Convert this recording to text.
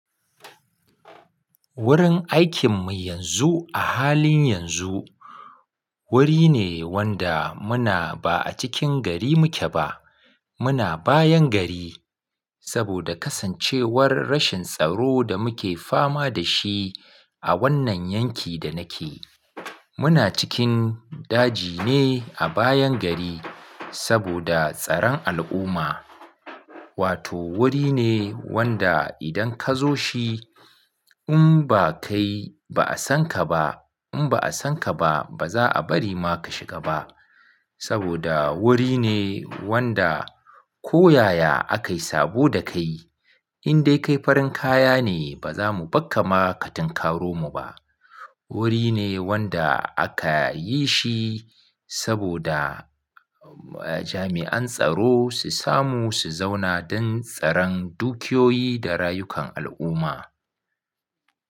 Wurin aikinmu yanzu a halin yanzu wuri ne wanda muna ba a cikin gari muke ba. Muna bayan gari saboda kasancewar rashin tsaro da muke fama da shi a wannan yanki da nake. Muna cikin daji ne a bayan gari saboda tsaron al'umma. Wato wuri ne wanda idan ka zo shi in ba kai ba a san ka ba, in ba a san ka ba ba za a bari ma ka shiga ba saboda wuri ne wanda ko yaya aka yi sabo da kai in dai kai farin kaya ne ba za mu bakka ma ka tunkaro mu ba. Wuri ne wanda aka yi shi saboda jami'an tsaro su samu su zauna don tsaran dukiyoyi da rayukan al'umma.